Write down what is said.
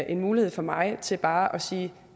en mulighed for mig til bare at sige